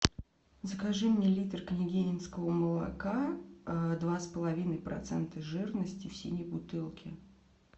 закажи мне литр княгининского молока два с половиной процента жирности в синей бутылке